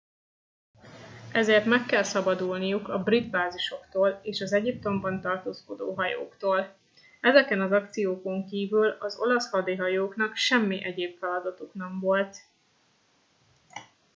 ezért meg kellett szabadulniuk a brit bázisoktól és az egyiptomban tartózkodó hajóktól ezeken az akciókon kívül az olasz hadihajóknak semmi egyéb feladatuk nem volt